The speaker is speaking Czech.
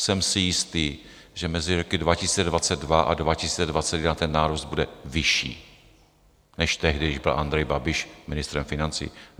Jsem si jistý, že mezi roky 2022 a 2021 ten nárůst bude vyšší než tehdy, když byl Andrej Babiš ministrem financí.